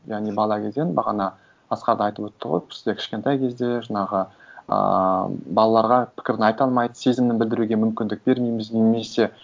яғни бала кезден бағана асхат айтып өтті ғой бізде кішкентай кезде жаңағы ыыы балаларға пікірін айта алмайды сезімін білдіруге мүмкіндік бермейміз немесе